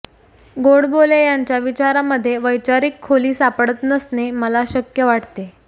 गोडबोले यांच्या विचारामधे वैचारिक खोली सापडत नसणे मला शक्य वाटते